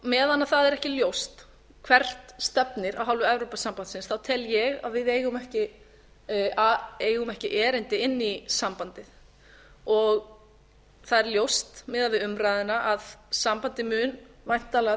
meðan það er ekki ljóst hvert stefnir af hálfu evrópusambandsins tel ég að við eigum ekki erindi inn í sambandið það er ljóst miðað við umræðuna að sambandið mun væntanlega